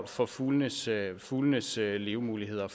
for fuglenes fuglenes levemuligheder